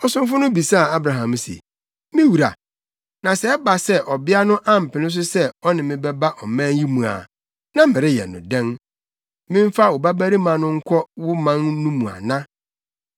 Ɔsomfo no bisaa Abraham se, “Me wura, na sɛ ɛba sɛ ɔbea no ampene so sɛ ɔne me bɛba ɔman yi mu a, na mereyɛ no dɛn? Memfa wo babarima no nkɔ wo man no mu ana?”